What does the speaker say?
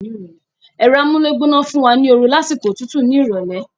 Ẹ̀rọ amúlégbóná fún wa ní oru ní àsìkò òtútù ní ìrọ̀lẹ́